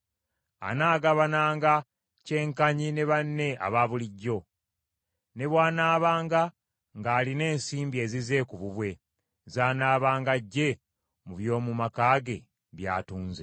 Anaagabananga kyenkanyi ne banne abaabulijjo, ne bw’anaabanga ng’alina ensimbi ezize ku bubwe z’anaabanga aggye mu by’omu maka ge by’atunze.